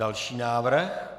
Další návrh.